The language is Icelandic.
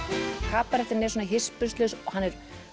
kabarettinn er svona hispurslaus og hann er